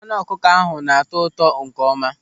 Anụ ọkụkọ ahụ na-atọ ụtọ nkeọma.